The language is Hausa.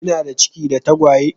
Kinada ciki da tagwaye?